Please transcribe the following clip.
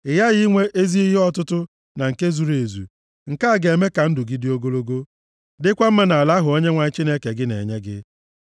Ị ghaghị inwe ezi ihe ọtụtụ na nke zuru ezu. Nke a ga-eme ka ndụ gị dị ogologo, dịkwa mma nʼala ahụ Onyenwe anyị Chineke gị na-enye gị.